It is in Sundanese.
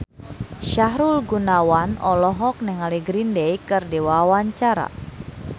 Sahrul Gunawan olohok ningali Green Day keur diwawancara